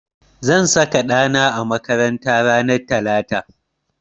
Zan saka ɗa na a makaranta ranar talata.